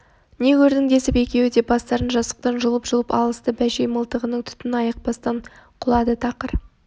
не көрдің десіп екеуі де бастарын жастықтан жұлып-жұлып алысты бәшей мылтығының түтін айықпастан құлады тақыр